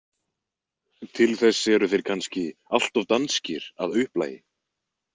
Til þess eru þeir kannski allt of danskir að upplagi.